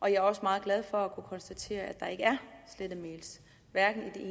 jeg er også meget glad for at kunne konstatere at der ikke er slettet mails hverken i